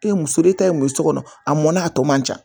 E ye muso e ta ye muso kɔnɔ a mɔnna a tɔ man ca